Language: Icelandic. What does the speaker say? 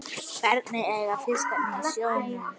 Hverjir eiga fiskinn í sjónum?